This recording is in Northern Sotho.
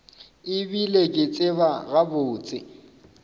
e bile ke tseba gabotse